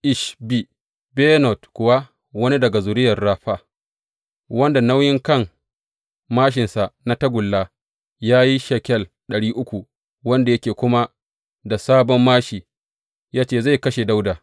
Ishbi Benob kuwa, wani daga zuriyar Rafa, wanda nauyin kan māshinsa na tagulla ya yi shekel ɗari uku, wanda yake kuma da sabon māshi, ya ce zai kashe Dawuda.